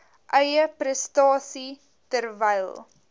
eie prestasie terwyl